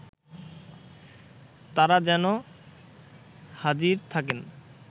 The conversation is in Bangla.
তারা যেন হাজির থাকেন